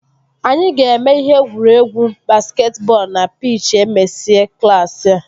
Anyị ga-eme ihe egwuregwu basketi bọọlụ na pich e mesịa klaasị a